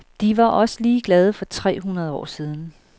De var også ligeglade for tre hundrede år siden.